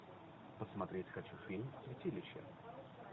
посмотреть хочу фильм святилище